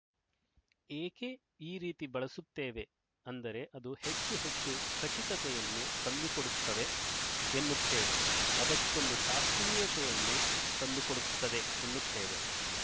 ಏಕೆ ಈ ರೀತಿ ಬಳಸುತ್ತೇವೆ ಅಂದರೆ ಅದು ಹೆಚ್ಚು ಹೆಚ್ಚು ಖಚಿತತೆಯನ್ನು ತಂದುಕೊಡುತ್ತವೆ ಎನ್ನುತ್ತೇವೆ ಅದಕ್ಕೊಂದು ಶಾಸ್ತ್ರೀಯತೆಯನ್ನು ತಂದು ಕೊಡುತ್ತದೆ ಎನ್ನುತ್ತೇವೆ